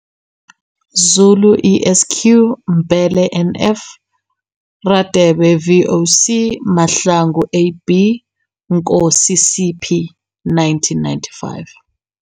Zulu ESQ, Mbhele NF, Radebe VOS, Mahlangu AB, Nkosi CP. 1995.